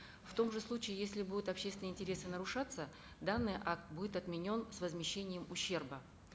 в том же случае если будут общественные интересы нарушаться данный акт будет отменен с возмещением ущерба